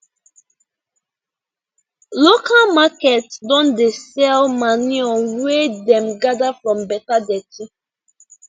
local market don dey sell manure wey dem gather from beta dirty